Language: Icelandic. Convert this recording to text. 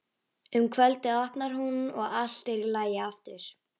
Um kvöldið opnar hún og allt er í lagi aftur.